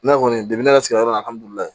Ne yɛrɛ kɔni